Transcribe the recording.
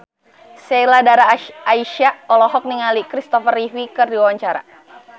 Sheila Dara Aisha olohok ningali Kristopher Reeve keur diwawancara